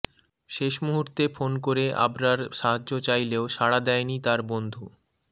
শেষ মুহূর্তে ফোন করে আবরার সাহায্য চাইলেও সাড়া দেয়নি তার বন্ধু